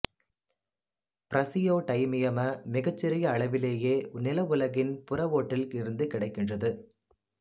praseodymium மிகச் சிறிய அளவிலேயே நில உலகின் புற ஓட்டில் இருந்து கிடைக்கின்றது